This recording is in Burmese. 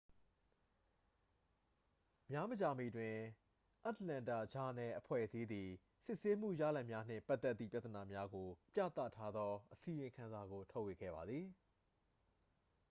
များမကြာမီတွင် အတ္တလန္တာ ဂျာနယ်-အဖွဲ့အစည်းသည် စစ်ဆေးမှုရလဒ်များနှင့်ပတ်သက်သည့်ပြဿနာများကို ပြသထားသောအစီရင်ခံစာကို ထုတ်ဝေခဲ့ပါသည်